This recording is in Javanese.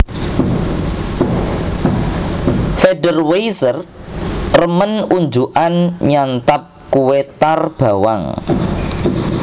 Federweisser remen unjukan nyantap kue tar bawang